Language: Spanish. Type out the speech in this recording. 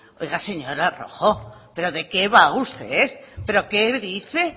oiga señora rojo de qué va usted pero qué dice